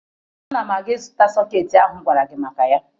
Ana m aga ịzụta sọkeetị ahụ m gwara gị maka ya